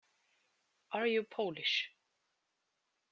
Are you Polish?